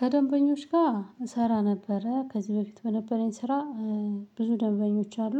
ከደንበኞች ጋር እሰራ ነበረ ከዚህ በፊት በነበረኝ ስራ ብዙ ደንበኞች አሉ።